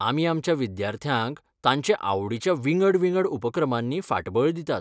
आमी आमच्या विद्यार्थ्यांक तांचे आवडीच्या विंगड विंगड उपक्रमांनी फाटबळ दितात.